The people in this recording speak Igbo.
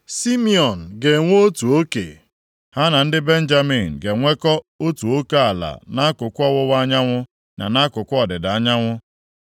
Simiọn ga-enwe otu oke; ha na ndị Benjamin ga-enwekọ otu oke ala nʼakụkụ ọwụwa anyanwụ na nʼakụkụ ọdịda anyanwụ.